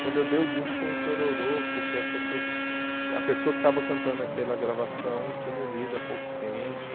Quando eu dei o disco foi um chororô, porque as pessoas a pessoa que estava cantando aquela gravação tinha morrido há pouco tempo.